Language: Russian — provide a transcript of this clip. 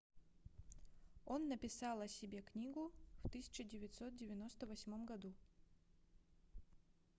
он написал о себе книгу в 1998 году